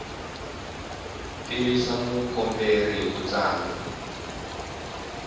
tivisa mukomberi hi ku tsala